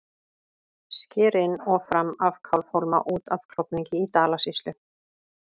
Sker inn og fram af Kálfhólma út af Klofningi í Dalasýslu.